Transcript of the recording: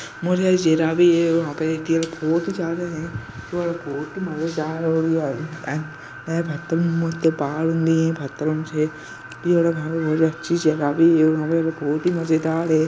मोरी जे रवि हे तेला पे टोल चले हेपाहड अवे वाटर आर नर छे बहोत ही मजेदार हे।